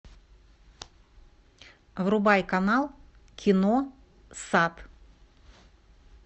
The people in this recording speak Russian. врубай канал кино сад